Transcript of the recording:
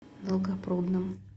долгопрудным